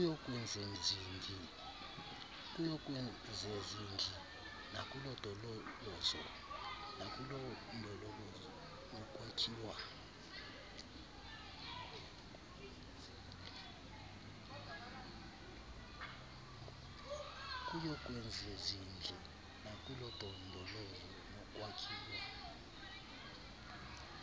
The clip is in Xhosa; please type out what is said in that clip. kuyokwezezindli nakulondolozo nokwakhiwa